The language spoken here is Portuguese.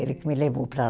Ele que me levou para